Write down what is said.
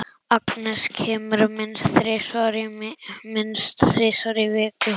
Agnes kemur minnst þrisvar í viku.